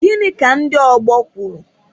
Gịnị ka ndị ọgbọ kwuru?